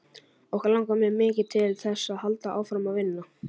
Okkur langar mjög mikið til þess að halda áfram að vinna.